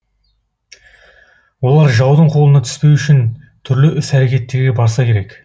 олар жаудың қолына түспеу үшін түрлі іс әрекеттерге барса керек